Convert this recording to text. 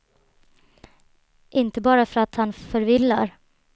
Inte bara för att han förvillar.